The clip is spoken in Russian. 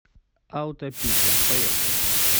аутопитер поехали